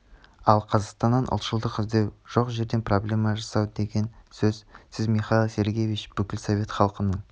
ал қазақстаннан ұлтшылдық іздеу жоқ жерден проблема жасау деген сөз сіз михаил сергеевич бүкіл совет халқының